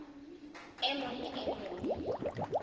e mong le e mong